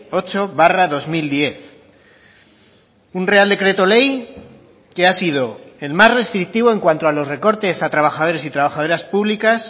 ocho barra dos mil diez un real decreto ley que ha sido el más restrictivo en cuanto a los recortes a trabajadores y trabajadoras públicas